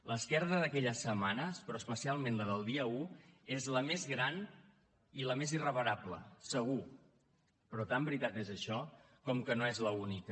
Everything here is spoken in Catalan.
l’esquerda d’aquelles setmanes però especialment la del dia un és la més gran i la més irreparable segur però tant veritat és això com que no és l’única